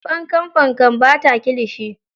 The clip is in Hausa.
Fankam-fankam, bata kilishi.